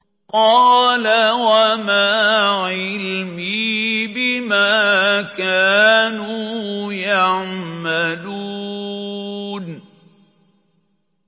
قَالَ وَمَا عِلْمِي بِمَا كَانُوا يَعْمَلُونَ